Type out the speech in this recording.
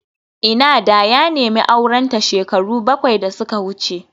Ina da ya nemi aurenta shekaru bakwai da suka wuce